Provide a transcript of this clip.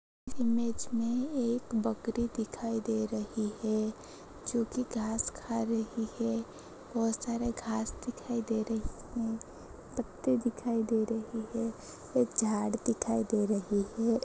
Image में एक बकरी दिखाई दे रही है जो कि घास खा रही है बोहोत सारी घास दिखाई दे रही हैं पत्ते दिखाई दे रहे हैं एक झाड़ दिखाई दे रही है।